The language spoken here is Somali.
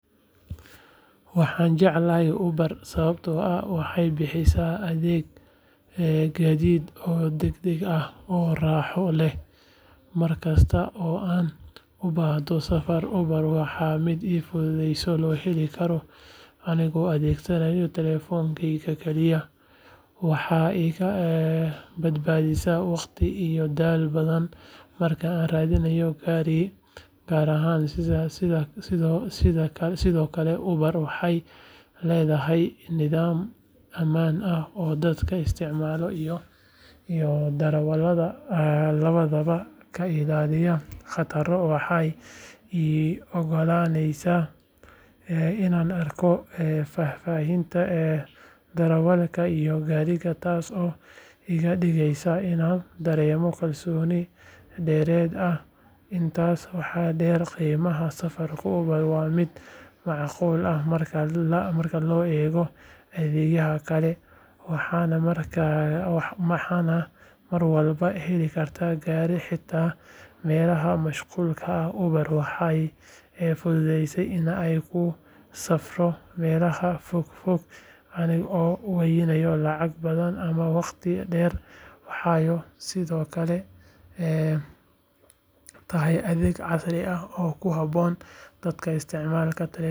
Waxaan jeclahay Uber sababtoo ah waxay bixisaa adeeg gaadiid oo degdeg ah oo raaxo leh markasta oo aan u baahdo safar Uber waa mid si fudud loo heli karo aniga oo adeegsanaya taleefankayga kaliya waxay iga badbaadisaa waqti iyo dadaal badan marka aan raadinayo gaari gaar ah sidoo kale Uber waxay leedahay nidaam ammaan ah oo dadka isticmaala iyo darawalada labadaba ka ilaaliya khataro waxay ii oggolaanaysaa inaan arko faahfaahinta darawalka iyo gaariga taas oo iga dhigaysa inaan dareemo kalsooni dheeraad ah intaas waxaa dheer qiimaha safarka Uber waa mid macquul ah marka loo eego adeegyada kale waxaana mar walba heli karaa gaari xitaa meelaha mashquulka ah Uber waxay fududeysaa in aan ku safro meelaha fogfog anigoon waayin lacag badan ama waqti dheer waxay sidoo kale tahay adeeg casri ah oo ku habboon dadka isticmaalaya teknoolojiyada.